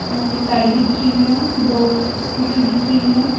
और एक गाड़ी दिख रही है दो स्कूटी दिख रही है।